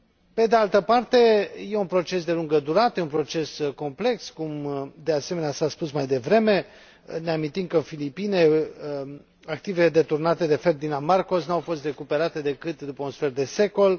Pe de altă parte, e un proces de lungă durată, e un proces complex, cum de asemenea s a spus mai devreme, ne amintim că în Filipine activele deturnate de Ferdinand Marcos nu au fost recuperate decât după un sfert de secol.